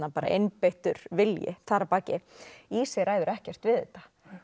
einbeittur vilji þar að baki ræður ekkert við þetta